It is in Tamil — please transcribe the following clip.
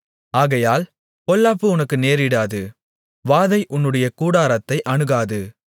ஆகையால் பொல்லாப்பு உனக்கு நேரிடாது வாதை உன்னுடைய கூடாரத்தை அணுகாது